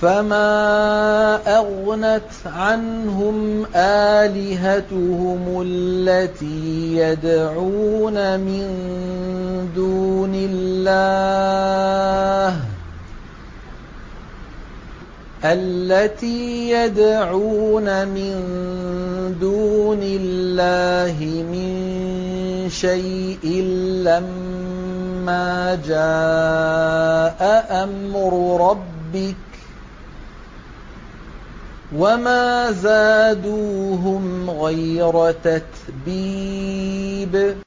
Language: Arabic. فَمَا أَغْنَتْ عَنْهُمْ آلِهَتُهُمُ الَّتِي يَدْعُونَ مِن دُونِ اللَّهِ مِن شَيْءٍ لَّمَّا جَاءَ أَمْرُ رَبِّكَ ۖ وَمَا زَادُوهُمْ غَيْرَ تَتْبِيبٍ